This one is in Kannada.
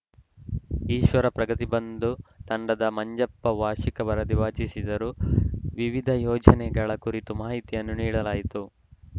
ಈಶ್ವರ ಪ್ರಗತಿಬಂದು ತಂಡದ ಮಂಜಪ್ಪ ವಾರ್ಷಿಕ ವರದಿ ವಾಚಿಸಿದರು ವಿವಿಧ ಯೋಜನೆಗಳ ಕುರಿತು ಮಾಹಿತಿಯನ್ನು ನೀಡಲಾಯಿತು